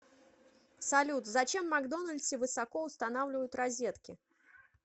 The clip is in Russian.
салют зачем в макдональдсе высоко устанавливают розетки